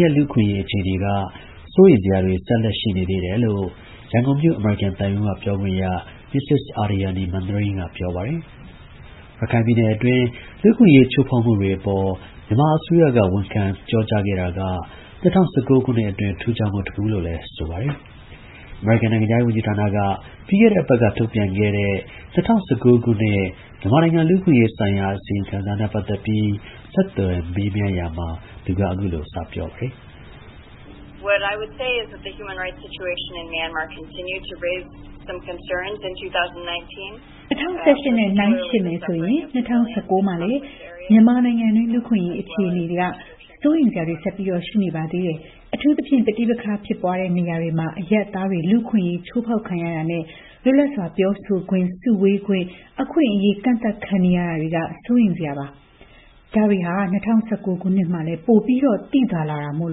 ရဲ့ လူ့အခွင့်အရေး အခြေအနေက စိုးရိမ်စရာတွေ ဆက်လက် ရှိနေသေးတယ်လို့ ရန်ကုန်မြို့ အမေရိကန်သံရုံးက ပြောခွင့်ရ Ms. Aryani Manring က ပြောပါတယ်။ ရခိုင်ပြည်နယ်အတွင်း လူ့အခွင့်အရေး ချိုးဖောက်မှုတွေအပေါ် မြန်မာအစိုးရက ဝန်ခံပြောကြား ခဲ့တာက ၂၀၁၉ ခုနှစ်အတွင်း ထူးခြားမှုတခုလို့လည်း ပြောပါတယ်။ အမေရိကန် နိုင်ငံခြားရေးဝန်ကြီးဌာနက ပြီးခဲ့တဲ့ အပတ်က ထုတ်ပြန်တဲ့ ၂၀၁၉ ခုနှစ်၊ မြန်မာနိုင်ငံ လူ့အခွင့်အရေးဆိုင်ရာ အစီရင်ခံစာနဲ့ ပတ်သက်ပြီး ကိုရဲမင်းထွန်းက ဆက်သွယ်မေးမြန်းရာမှာ သူက အခုလို စပြောပါတယ်။ ၂၀၁၈ နဲ့ နှိုင်းယှဉ်မယ်ဆိုရင် ၂၀၁၉ ခုနှစ်မှာလည်း မြန်မာနိုင်ငံအတွင်း လူ့အခွင့်အရေး အခြေအနေက စိုးရိမ်စရာတွေ ဆက်လက် ရှိနေပါသေးတယ်။ အထူးသဖြင့် ပဋိပက္ခ ဖြစ်ပွားနေတဲ့ နေရာတွေမှာ အရပ်သားတွေ လူ့အခွင့်အရေး ချိုးဖောက်ခံရတာနဲ့ လွတ်လပ်စွာ ပြောဆိုခွင့်၊ စုဝေးခွင့် အခွင့်အရေး ကန့်သတ်ခံနေရတာက စိုးရိမ်စရာပါ။ ဒါတွေဟာ ၂၀၁၉ ခုနှစ်အတွင်းမှာလည်း ပိုပြီး သိသာလာတာမို့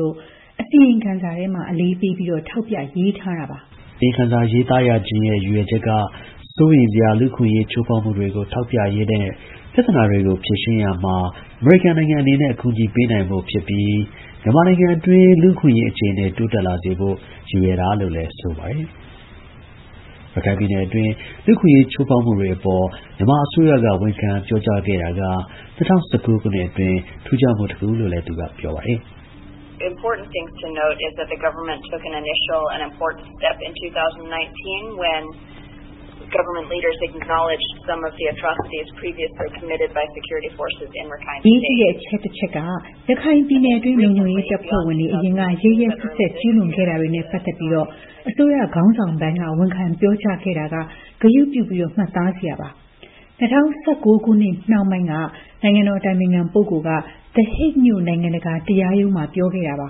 လို့ အစီရင်ခံစာထဲမှာ အလေးပေး ထောက်ပြ ရေးထားတာပါ။ အစီရင်ခံစာရေးရခြင်းရဲ့ ရည်ရွယ်ချက်က စိုးရိမ်စရာ လူ့အခွင့်အရေး ချိုးဖောက်မှုတွေကို ထောက်ပြရင်းနဲ့ ပြဿနာတွေကို ဖြေရှင်းရာမှာ အမေရိကန်နိုင်ငံ အနေနဲ့ အကူအညီပေးနိုင်ဖို့နဲ့ မြန်မာနိုင်ငံအတွင်း လူ့အခွင့်အရေး အခြေအနေ တိုးတက်လာစေဖို့ ရည်ရွယ်တာလို့ ဆိုပါတယ်။ ရခိုင်ပြည်နယ်အတွင်း လူ့အခွင့်အရေး ချိုးဖောက်မှုတွေအပေါ် မြန်မာအစိုးရက ဝန်ခံပြောကြားခဲ့တာက ၂၀၁၉ ခုနှစ်အတွင်း ထူးခြားမှု တခုလို့ သူက ပြောပါတယ်။ "အရေးကြီးတဲ့အချက်တချက်က ရခိုင်ပြည်နယ်အတွင်း လုံခြုံရေးတပ်ဖွဲ့ဝင်တွေ အရင်က ရက်ရက်စက်စက် ကျူးလွန်ခဲ့တာတွေနဲ့ ပတ်သက်ပြီး အစိုးရ ခေါင်းဆောင်ပိုင်းက ဝန်ခံပြောကြားခဲ့တာက ဂရုပြု မှတ်သားစရာပါ။ ၂၀၁၉ ခုနှစ်နှောင်းပိုင်းက နိုင်ငံတော် အတိုင်ပင်ခံ ပုဂ္ဂိုလ်က သည်ဟိတ်မြို့ နိုင်ငံတကာ တရားရုံးမှာ ပြောခဲ့တာပါ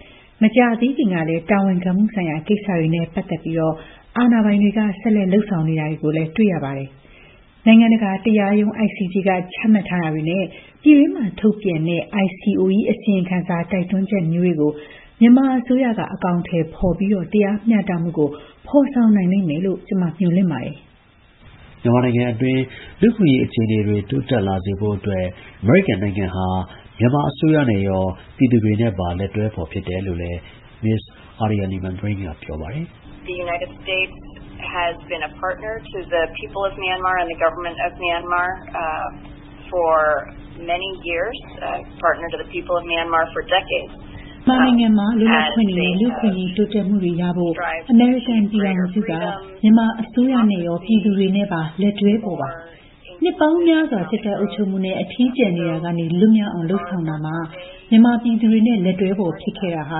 ။ မကြာသေးခင်ကလည်း တာဝန်ခံမှုဆိုင်ရာ ကိစ္စတွေနဲ့ ပတ်သက်ပြီး အာဏာပိုင်တွေကဆက်လက်လုပ်ဆောင်နေတာ တွေ့ရပါတယ်။ နိုင်ငံတကာ တရားရုံး ICJ က ချမှတ်ထားတာတွေနဲ့ ပြည်တွင်းမှာ ထုတ်ပြန်ခဲ့တဲ့ ICOE အစီရင်ခံစာ တိုက်တွန်းချက်မျိုးတွေကို မြန်မာ အစိုးရက အကောင်အထည် ဖော်ပြီး တရားမျှတမှုကို ဖော်ဆောင်လိမ့်မယ်လို့ မျှော်လင့်ပါတယ်။" မြန်မာနိုင်ငံအတွင်း လူ့အခွင့်အရေး အခြေအနေတွေ တိုးတက်လာစေဖို့အတွက် အမေရိကန်နိုင်ငံဟာ မြန်မာအစိုးရနဲ့ ရော ပြည်သူတွေနဲ့ပါ လက်တွဲဖော် ဖြစ်တယ်လို့လည်း Ms. Aryani Manring က ပြောပါတယ်။ "မြန်မာနိုင်ငံအတွင်း လွတ်လပ်ခွင့်တွေနဲ့ လူ့အခွင့်အရေး တိုးတက်မှုတွေရှိဖို့နဲ့ အမေရိကန် ပြည်ထောင်စုက မြန်မာ အစိုးရနဲ့ရော ပြည်သူတွေနဲ့ပါ လက်တွဲဖော်ပါ။ နှစ်ပေါင်း များစွာ စစ်တပ် အုပ်ချုပ်မှုနဲ့ အထီးကျန်ခဲ့မှုကနေ လွတ်မြောက်အောင် လုပ်ဆောင်ရာမှာ မြန်မာပြည်သူတွေနဲ့ လက်တွဲဖော် ဖြစ်ခဲ့တာ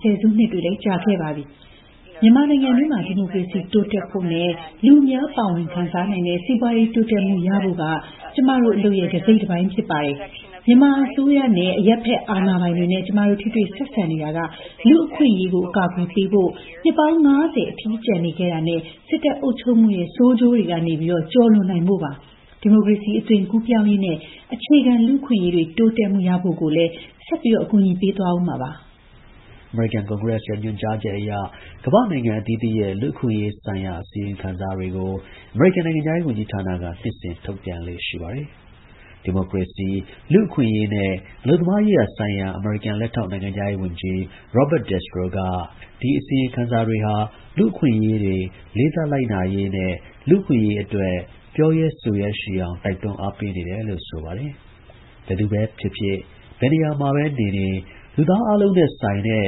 ဆယ်စုနှစ်တွေ ကြာခဲ့ပါပြီ။ မြန်မာနိုင်ငံအတွင်း ဒီမိုကရေစီ စနစ် တိုးတက်ဖို့နဲ့ လူအများ ပါဝင် ခံစားနိုင်တဲ့ စီးပွားရေး တိုးတက်မှု ရှိဖို့ဟာ ကျမတို့ အလုပ်ရဲ့ တစိတ်တပိုင်း ဖြစ်ပါတယ်။ မြန်မာအစိုးရနဲ့ အရပ်ဘက် အာဏာပိုင်တွေနဲ့ ကျမတို့ ထိတွေ့ ဆက်ဆံနေတာတွေက လူ့အခွင့်အရေး အကာအကွယ်ပေးဖို့၊ နှစ်ပေါင်း ၅၀ အထီးကျန်နေခဲ့တာနဲ့ စစ်တပ် အုပ်ချုပ်မှုရဲ့ ဆိုးကျိုးတွေကနေ ကျော်လွန်နိုင်ဖို့ပါ။ ဒီမိုကရေစီ အသွင်ကူးပြောင်းရေးနဲ့ အခြေခံ လူ့အခွင့်အရေးတွေ တိုးတက် ရရှိဖို့ကိုလည်း အကူအညီ ဆက်ပေးသွားမှာ ဖြစ်ပါတယ်။" အမေရိကန် ကွန်ဂရက်ရဲ့ ညွှန်ကြားချက်အရ ကမ္ဘာ့နိုင်ငံ အသီးသီးရဲ့ လူ့အခွင့်အရေးဆိုင်ရာ အစီရင်ခံစာတွေကို အမေရိကန်နိုင်ငံခြားရေး ဝန်ကြီးဌာနက နှစ်စဉ် ထုတ်ပြန်လေ့ရှိပါတယ်။ ဒီမိုကရေစီ၊၊ လူ့အခွင့်အရေးနဲ့ အလုပ်သမားရေးရာဆိုင်ရာ အမေရိကန် လက်ထောက်နိုင်ငံခြားရေးဝန်ကြီး Robert Destro က ဒီ အစီရင်ခံစာတွေဟာ လူ့အခွင့်အရေးတွေ လေးစားလိုက်နာရေးနဲ့ လူ့အခွင့်အရေး အတွက် ပြောရဲဆိုရဲရှိအောင် တိုက်တွန်းအားပေးနေတယ်လို့ ဆိုပါတယ်။ ဘယ်သူပဲ ဖြစ်ဖြစ် ဘယ်နေရာမှာပဲ နေနေ လူသားအားလုံးနဲ့ဆိုင်တဲ့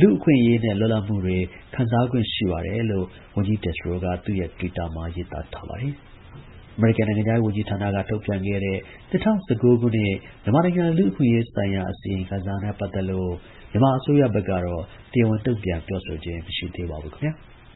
လူ့ အခွင့်အရေးနဲ့ လွတ်လပ်မှုတွေ ခံစားခွင့် ရှိပါတယ်လို့ ဝန်ကြီး Destro က သူ့ရဲ့ တွစ်တာမှာ ရေးထားပါတယ်။ အမေရိကန်နိုင်ငံခြားရေး ဝန်ကြီးဌာနက ထုတ်ပြန်ခဲ့တဲ့၂၀၁၉ ခုနှစ် မြန်မာနိုင်ငံ လူ့အခွင့်အရေးဆိုင်ရာ အစီရင်ခံစာနဲ့ ပတ်သက်လို့ မြန်မာ အစိုးရဘက်ကတော့ တရားဝင် တုံ့ပြန် ပြောဆိုခြင်း မရှိပါဘူး ခင်ဗျာ။